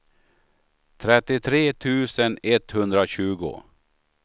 trettiotre tusen etthundratjugo